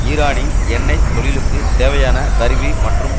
ஈரானின் எண்ணெய் தொழிலுக்குத் தேவையான கருவி மற்றும்